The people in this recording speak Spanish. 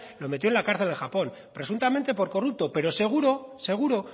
lo metió en la cárcel en japón presuntamente por corrupto pero seguro seguro